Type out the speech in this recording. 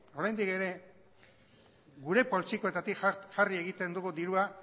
oraindik ere gure poltsikoetatik jarri egiten dugu dirua